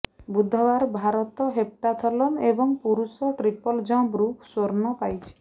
ବୁଧବାର ଭାରତ ହେପ୍ଟାଥଲନ ଏବଂ ପୁରୁଷ ଟ୍ରିପଲ ଜମ୍ପରୁ ସ୍ୱର୍ଣ୍ଣ ପାଇଛି